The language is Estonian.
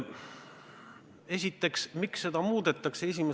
Esiteks, miks seda muudetakse?